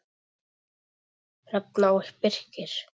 Hrefna og Birkir.